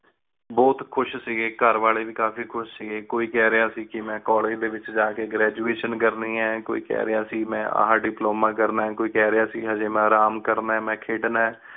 ਬੋਹਤ ਖੁਸ਼ ਸੀ ਘਰ ਵਾਲੀ ਵੀ ਕਾਫੀ ਖੁਸ਼ ਸੀ ਕੋਈ ਕਹ ਰਯ ਸੀ ਕ ਮੇਨ ਕੋਲ੍ਲੇਗੇ ਡੀ ਵਿਚ ਜਾ ਕ ਮੇਂ graduation ਕਰਨੀ ਹੈ ਕੋਈ ਕਹ ਰਯ ਸੀ ਮੇਂ ਏਹਾ ਡਿਪ੍ਲੋਮਾ ਕਰਨਾ ਹੈ ਕੋਈ ਕਹ ਰਯ ਸੀ ਹਾਜੀ ਮੇਂ ਆਰਾਮ ਕਰਨਾ ਆਯ ਮੇਂ ਖੇਡਣਾ ਹੈ।